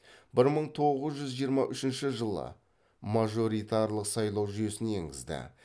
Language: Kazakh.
бір мың тоғыз жүз жиырма үшінші жылы мажоритарлық сайлау жүйесін енгізді